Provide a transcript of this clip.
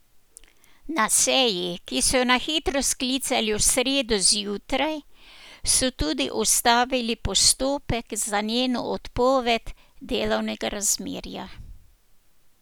Na seji, ki so jo na hitro sklicali v sredo zjutraj, so tudi ustavili postopek za njeno odpoved delovnega razmerja.